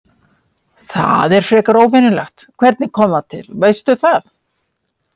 Það er frekar óvenjulegt, hvernig kom það til, veistu það?